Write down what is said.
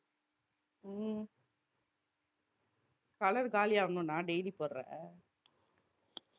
உம் color காலியாகணும்னா daily போடற அஹ்